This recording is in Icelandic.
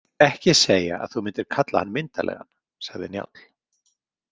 Ekki segja að þú myndir kalla hann myndarlegan, sagði Njáll.